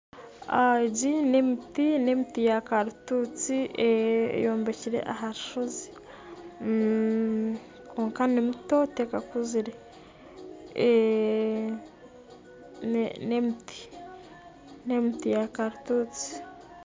Egi n'emiti ya karitutsi ebyairwe aharushozi kwonka nimito tekakuzire. N'emiti ya karututsi